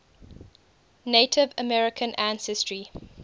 native american ancestry